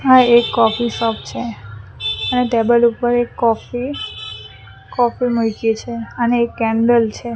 આ એક coffee shop છે ત્યાં ટેબલ ઉપર એક કોફી કોફી મૂયકી છે અને એક કેન્ડલ છે.